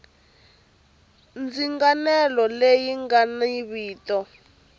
ndzinganelo leyi nga ni vito